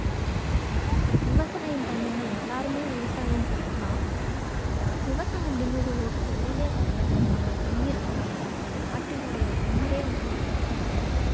விவசாயம் பண்ணுங்க. எல்லாருமே விவசாயம் பண்ணலாம். விவசாயம் அப்படிங்கிறது ஒரு தொழிலே கிடையாது. அது நம்ம உயிர். நம்ம~ நம்மளுடைய நாட்டினுடைய உயிரே வந்து விவசாயம் தான்.